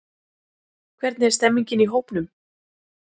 Hvernig er stemmningin í hópnum?